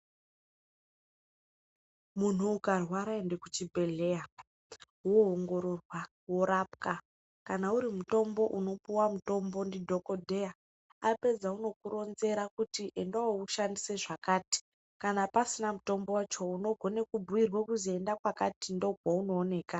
Munhu ukarwara ende kuchibhedhlera woongororwa, worapwa, kana uri mutombo, unopuwa mutombo ndidhokodheya, apedza unokuronzera kuti enda woushandise zvakati, kana pasina mutombo wacho unogona kubhuirwa kuzi enda kwakati ndokwaunooneka.